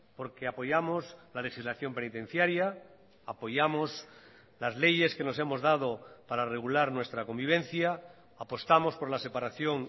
porque apoyamos la legislación penitenciaria apoyamos las leyes que nos hemos dado para regular nuestra convivencia apostamos por la separación